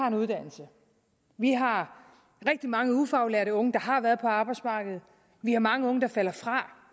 en uddannelse vi har rigtig mange ufaglærte unge der har været på arbejdsmarkedet vi har mange unge der falder fra